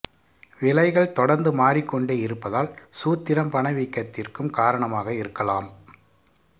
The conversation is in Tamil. விலைகள் தொடர்ந்து மாறிக்கொண்டே இருப்பதால் சூத்திரம் பணவீக்கத்திற்கும் காரணமாக இருக்கலாம்